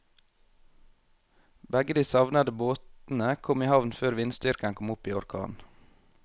Begge de savnede båtene kom i havn før vindstyrken kom opp i orkan.